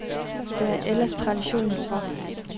Det er der ellers tradition for.